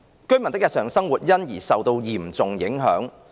居民的日常生活因而受到嚴重影響。